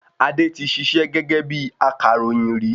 Adé tí ṣiṣẹ́ gẹ́gẹ́ bíi akàròyìn rí